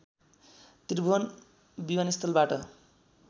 त्रिभुवन विमानस्थलबाट